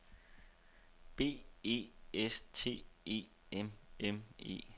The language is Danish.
B E S T E M M E